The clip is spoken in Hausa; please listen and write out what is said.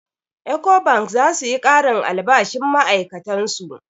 Ecobank za su yi ƙarin albashin ma'ai'katan su.